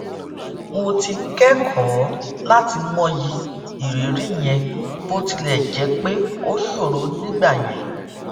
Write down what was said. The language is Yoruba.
mo ti kékòó láti mọyì ìrírí yẹn bó tilè jé pé ó ṣòro nígbà yẹn